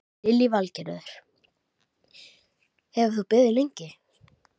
Lillý Valgerður: Hefur þú beðið lengi?